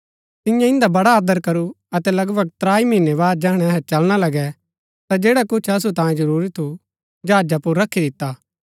तिन्ये इन्दा बड़ा आदर करू अतै लगभग त्राई महीनै बाद जैहणै अहै चलना लगै ता जैडा कुछ असु तांयें जरूरी थु जहाजा पुर रखी दिता